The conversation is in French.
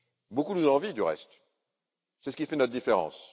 Beaucoup nous l'envient, du reste c'est ce qui fait notre différence.